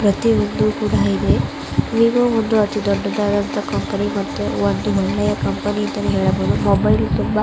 ಪ್ರತಿಯೊಂದು ಕೂಡ ಇದೆ ವಿವೋ ಒಂದು ಅತಿ ದೊಡ್ಡದಾದ ಕಂಪನಿ ಮತ್ತು ಒಂದು ಒಳ್ಳೆಯ ಕಂಪನಿ ಅಂತಾನೆ ಹೇಳಬಹುದು. ಮೊಬೈಲ್ ತುಂಬಾ--